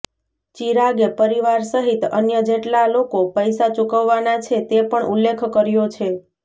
ચિરાગે પરિવાર સહિત અન્ય જેટલા લોકો પૈસા ચૂકવાના છે તે પણ ઉલ્લેખ કર્યો છે